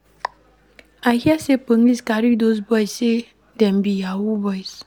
I hear sey police carry dose boys sey dem be yahoo boys.